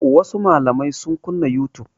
Wasu malamai sun kunna youtube.